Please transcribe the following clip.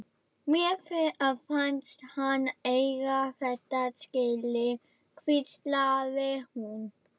Mér fannst hann eiga þetta skilið- hvíslaði hún.